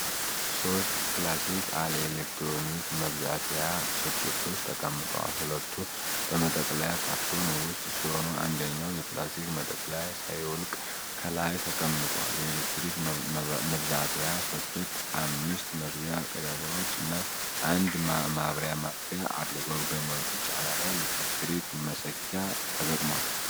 ሦስት ክላሲክ-አል የኤሌክትሪክ መብዛትያ ሶኬቶች ተቀምጠዋል። ሁለቱ በመጠቅለያ ካርቶን ውስጥ ሲሆኑ አንደኛው የፕላስቲክ መጠቅለያ ሳይወልቅ ከላይ ተቀምጧል። የኤሌክትሪክ መብዛትያ ሶኬቱ አምስት መግቢያ ቀዳዳዎች እና አንድ ማብሪያ ማጥፊያ አለው። በገመዱ ጫፍ ላይ የኤሌክትሪክ መሰኪያ ተገጥሟል።